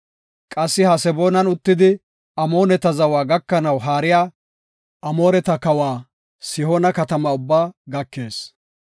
Qassi Haseboonan uttidi Amooneta zawa gakanaw haariya Amooreta kawa Sihoona katamata ubbaa gakees.